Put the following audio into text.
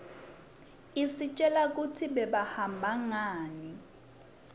istjela kutsi bebahamba ngani